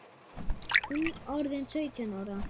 Hún orðin sautján ára.